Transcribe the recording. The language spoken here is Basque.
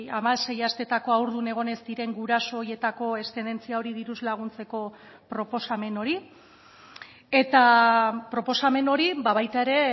hamasei asteetako haurdun egon ez diren guraso horietako eszedentzia hori diruz laguntzeko proposamen hori eta proposamen hori baita ere